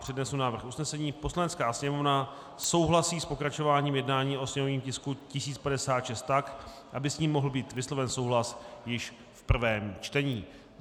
Přednesu návrh usnesení: "Poslanecká sněmovna souhlasí s pokračováním jednání o sněmovním tisku 1056 tak, aby s ním mohl být vysloven souhlas již v prvém čtení."